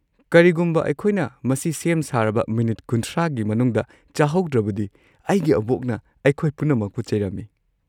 ꯀꯔꯤꯒꯨꯝꯕ ꯑꯩꯈꯣꯏꯅ ꯃꯁꯤ ꯁꯦꯝ ꯁꯥꯔꯕ ꯃꯤꯅꯤꯠ ꯳꯰ꯒꯤ ꯃꯅꯨꯡꯗ ꯆꯥꯍꯧꯗ꯭ꯔꯕꯗꯤ ꯑꯩꯒꯤ ꯑꯕꯣꯛꯅ ꯑꯩꯈꯣꯏ ꯄꯨꯝꯅꯃꯛꯄꯨ ꯆꯩꯔꯝꯃꯤ꯫